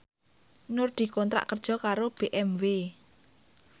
Nur dikontrak kerja karo BMW